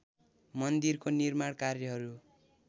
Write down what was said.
मन्दिरको निर्माण कार्यहरू